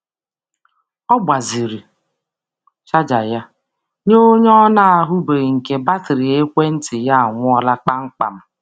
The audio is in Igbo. Ọ gbazinyere onye ọbịbịa ọbịbịa chaja ya mgbe batrị ekwentị ya nwụrụ kpamkpam.